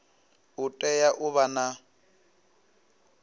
u tea u vha na